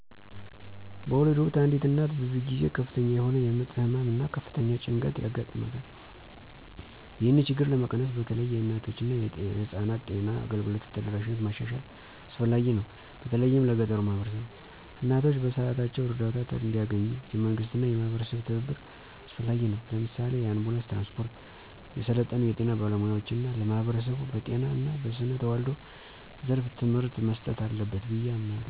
በወሊድ ወቅት አንዲት እናት ብዙ ጊዜ ከፍተኛ የሆነ የምጥ ህመም እና ከፍተኛ ጭንቀት ያጋጥማታል። ይህንን ችግር ለመቀነስ በተለይ የእናቶችና የህፃናት ጤና አገልግሎት ተደራሽነትን ማሻሻል አስፈላጊ ነው፤ በተለይም ለገጠሩ ማህበረሰቦች። እናቶች በሰዓታቸው እርዳታ እንዲያገኙ፣ የመንግስትና የማህበረሰብ ትብብር አስፈላጊ ነው። ለምሳሌ፣ የአንቡላንስ ትራንስፖርት፣ የሰለጠኑ የጤና ባለሙያዎች እና ለማህበረሰቡ በጤና እና በስነ ተዋልዶ ዘርፍ ትምህርት መስጠት አለበት ብዬ አምናለሁ።